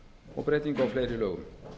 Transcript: og breytingu á fleiri lögum